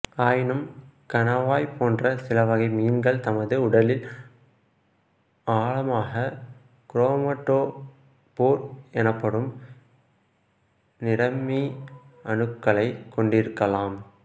ஆயினும் கணவாய் போன்ற சில வகை மீன்கள் தமது உடலில் ஆழமாக குரோமடோஃபோர் எனப்படும் நிறமி அணுக்களைக் கொண்டிருக்கலாம்